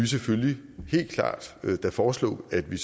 selvfølgelig helt klart foreslå at vi